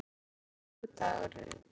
Mikkel, hvaða vikudagur er í dag?